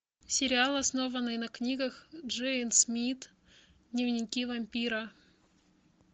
сериал основанный на книгах джейн смит дневники вампира